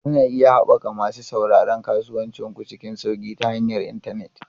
Kuna iya haɓaka masu sauraron kasuwancin ku cikin sauƙi ta hanyar intanet.